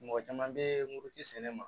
Mɔgɔ caman bɛ muruti sɛnɛ ma